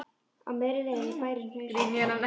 Á miðri leið er bærinn Hnausar.